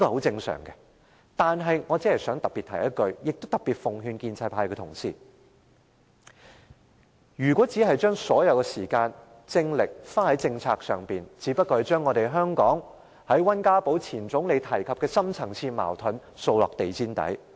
但是，我想特別提醒一句，也特別奉勸建制派同事，如果只把所有時間和精力花在政策上，只不過是將前總理溫家寶提及香港的深層次矛盾掃到地毯下。